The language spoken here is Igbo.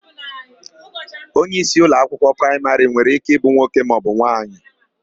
Onyeisi ụlọakwụkwọ praịmarị nwere íké ịbụ nwoke maọbụ nwaanyị.